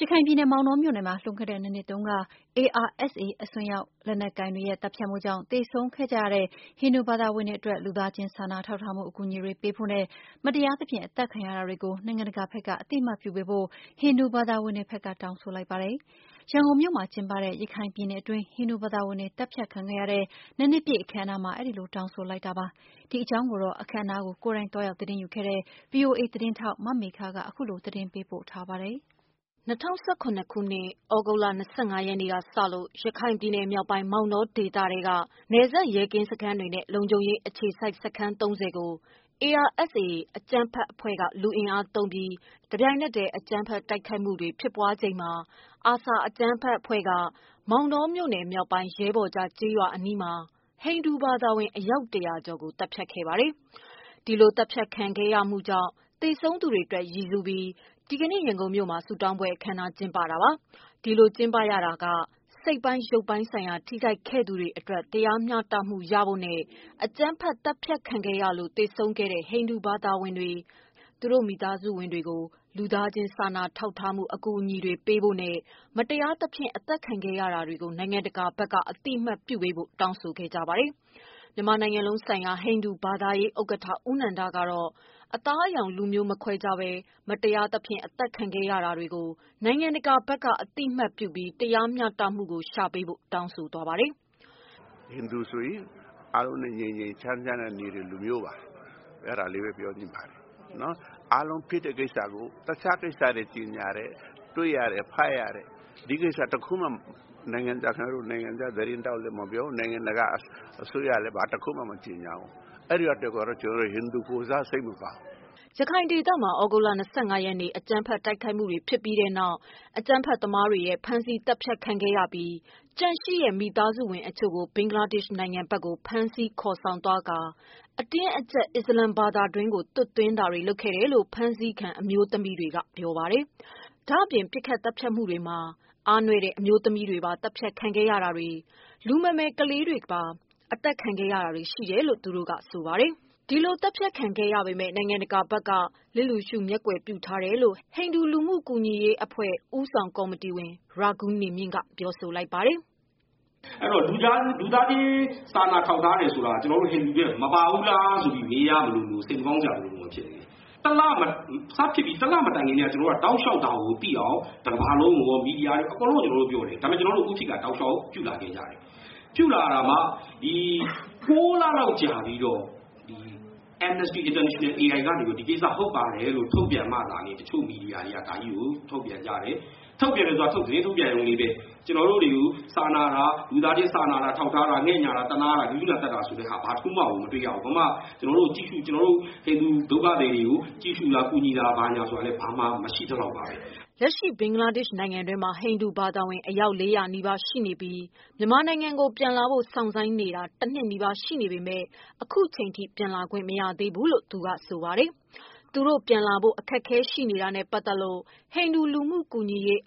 ရခိုင်ပြည်နယ်၊ မောင်တောမြို့နယ်မှာ လွန်ခဲ့တဲ့ ၂ နှစ်တုန်းက ARSA အစွန်းရောက် အကြမ်းဖက် သမားတွေ သတ်ဖြတ်မှုကြောင့် သေဆုံးခဲ့ကြတဲ့ ဟိန္ဒူဘာသာဝင်တွေ အတွက် လူသား ချင်းစာနာထောက် ထားမှု အကူအညီတွေပေးဖို့နဲ့ မတရားသဖြင့်အသတ်ခံရ တာတွေကို နိုင်ငံတကာဘက်က အသိအမှတ်ပြုပေးဖို့ ဟိန္ဒူဘာသာဝင်တွေဘက်က တောင်းဆိုလိုက်ပါတယ်။ ရန်ကုန်မြို့မှာ ကျင်းပတဲ့ ရခိုင်ပြည်နယ်အတွင်း ဟိန္ဒူဘာသာဝင်တွေ သတ်ဖြတ်ခံခဲ့ရတဲ့ ၂ နှစ်ပြည့် အခမ်းအနားမှာ အဲဒီလို တောင်းဆိုလိုက်ကြတာပါ။ ဒီအကြောင်းကိုတော့ အခမ်းအနားမှာ ကိုယ်တိုင်သွား ရောက်သတင်းယုူခဲ့တဲ့ ဗွီအိုအေသတင်းထောက် မေခကပေးပို့ထားပါတယ်။ ၂၀၁၇ ခုနှစ်၊ သြဂုတ်လ ၂၅ ရက်နေ့ကစလို့ ရခိုင်ပြည်နယ်မြောက်ပိုင်း မောင်တော ဒေသထဲက နယ်စပ် ရဲကင်းစခန်းတွေနဲ့ လုံခြုံရေးအခြေစိုက်စခန်း ၃၀ ကို ARSA အကြမ်းဖက် အဖွဲ့ က လူအင်အားသုံးပြီး တပြိုင်နက်တည်း အကြမ်းဖက် တိုက်ခိုက်မှုတွေဖြစ်ပွားချိန်မှာ ARSA အကြမ်းဖက်အဖွဲ့က မောင်တောမြို့နယ် မြောက်ပိုင်း ရဲဘော်ကျကျေးရွာအနီးမှာ ဟိန္ဒူဘာသာဝင် အယောက် ၁၀၀ကျော်ကိုသတ်ဖြတ် ခဲ့ပါတယ်။ ဒီလိုသတ်ဖြတ်ခံရမှုကြောင့် သေဆုံးသူတွေအတွက် ရည်စူးပြီး ဒီကနေ့ ရန်ကုန်မြို့မှာ ဆုတောင်းပွဲ အခမ်းအနားကျင်းပတာပါ။ ဒီလိုကျင်းပရတာက စိတ်ပိုင်း၊ ရုပ်ပိုင်းဆိုင်ရာ ထိခိုက်ခဲ့ရသူတွေအတွက် တရားမျှတမှု ရဖို့ နဲ့အကြမ်းဖက် သတ် ဖြတ်ခံရလို့ သေဆုံးခဲ့တဲ့ ဟိန္ဒူ ဘာသာဝင် တွေ၊ သူတို့မိသားစုဝင်တွေကို လူသား ချင်းစာနာထောက် ထားမှု အကူအညီတွေပေးဖို့နဲ့ မတရားသဖြင့်အသတ်ခံရ တာတွေကို နိုင်ငံတကာဘက်က အသိအမှတ်ပြုပေးဖို့ တောင်းဆို ခဲ့ကြပါတယ်။ မြန်မာနိုင်ငံလုံးဆိုင်ရာ ဟိန္ဒူဘာသာရေးဥက္ကဌ ဦးနန္ဒကတော့ အသားအရောင် လူမျိုး မခွဲခြားဘဲ မတရားသဖြင့်အသတ်ခံရ တာတွေကို နိုင်ငံတကာဘက်က အသိအမှတ်ပြုပြီး တရားမ ျှတမှုကို ရှာပေးဖို့ နိုင်ငံတကာကို တောင်းဆိုလိုက်ပါတယ်။ “ဟိန္ဒူဆိုတာက အားလုံးနဲ့ ငြိမ်းချမ်းစွာနေတဲ့လူမျိုးပါ။ အဲဒါလေးပဲ ပြောချင်ပါတယ် အားလုံးဖြစ်တဲ့ ကိစ္စကို တခြားကိစ္စတွေ တွေ့ရတယ်။ ဖတ်ရတယ်။ ဒီကိစ္စ တခုမှာ နိုင်ငံခြားသတင်းမှာရော နိုင်ငံတကာ အစိုးရ ကလာ်း မကြေညာဘူး။ အဲဒီတော့ ဟိန္ဒူတွေ ကိုယ်စား ကျနော်တို့စိတ်မကောင်းဘူး “ ရခိုင်ဒေသမှာ သြဂုတ်လ ၂၅ရက်နေ့ အကြမ်းဖက်တိုက်ခိုက်မှုတွေဖြစ်ပြီးတဲ့နောက် အကြမ်းဖက်သမားတွေရဲ့ဖမ်းဆီးသတ်ဖြတ်ခံခဲ့ရပြီး ကျန်ရှ ိတဲ့ မိသားစုဝင် အချို့ကို ဘင်္ဂလားဒေရှ့်နိုင်ငံဘက်ကို ဖမ်းဆီးခေါ်ဆောင်သွားပြီး အတင်းအကျပ် အစ္စလာမ်ဘာသာ တွင်းသွတ်သွင်းတာတွေ လုပ်ဆောင်ခဲ့တယ်လို့ ဖမ်းဆီးခံ အမျိုး သမီးတွေက ပြောပါတယ်။ ဒါ့အပြင် ပစ်ခတ်သတ်ဖြတ်မှုတွေမှာ အားနွဲ့တဲ့ အမျိုးသမီးတွေပါသတ်ဖြတ်ခံခဲ့ရတာတွေ၊ လူမမယ် ကလေးတွေကိုပါသတ်ဖြတ်ခဲ့တာတွေ ရှိခဲ့တယ်လို့ ဆိုပါတယ်။ ဒီလို သတ်ဖြတ်ခံခဲ့ရပေမယ့် နိုင်ငံတကာဘက်က လျစ်လျူရှု၊ မျက်ကွယ်ပြုထားတယ် လို့ ဟိန္ဒူလူမှုကူညီရေးအဖွဲ့ ဦးဆောင်ကောမတီဝင် ရာဂူးနေမြင့်က ပြောပါတယ်။ “လူသားချင်းစာနာထောက်ထားတယ်ဆိုတာမှာ ကျနောတို့ ဟိန္ဒူတွေ မပါဘူးလားလို့ မေးရမလို စိတ်မကောင်းစရာတွေဖြစ်နေတယ်။ စဖြစ်ပြီး ၁လမှာ ကျနော်တို့ တောက်လေ ျှာက်ဒါကို သိအောင် တကမ္ဘာလုံးကိုရော၊ သတင်းမီဒီယာတွေရော ပြောတယ်။ ဒါပေမယ့် ကျနော်တို့ကို ဥပေက္ခာပြုတယ်။ ၉ လလောက် ကြာပြီးတော့ Amnesty International ကနေပြီးတော့ ဒီကိစ္စ ဟုတ်ပါတယ်ဆိုတာ ထုတ်ပြန်မှသာ ဒီကိစ္စ သတင်းမီဒီယာတွေက ထုတ်ပြန်ပေးတယ်။ ထုတ်ပြန်တယ်ဆိုတာ သတင်းထုတ်ပြန်ရုံလေးပဲ ကျနော်တို့ကို လူသားချင်းစာနာထောက်ထား၊ သနားတာ စာနာတာ ၊ ဂဂုဏာသက်တာဆိုတာ ဘာတခုမှ မတွေ့ရဘူး။ ကျနော်တို့ ဟိန္ဒူဒုက္ခသည်တွေကို ကြည့်ရှု့တာ ကူညီတာဆိုတာလည်း မရှိသလောက်ပါပဲ။” လက်ရှိ ဘင်္ဂလားဒေ့ရှ် နိုင်ငံတွင်းမှာ ဟိန္ဒူဘာသာဝင် အယောက် ၄၀၀နီးပါး ရောက်ရှိနေပြီး မြန်မာနိုင်ငံကို ပြန်လာဖို့ စောင့်ဆိုင်းနေတာ ၁နှစ်နီးပါး ရှိနေပေ မယ့် အခုချိန်ထိ ပြန်လာခွင့်မရှိသေးဘူးလို့ ဆိုပါတယ်။ သူတို့ ပြန်လာဖို့ အခက်အခဲ ရှိနေတာနဲ့ပတ်သက်လို့ ဟိန္ဒူလူမှုကူညီရေး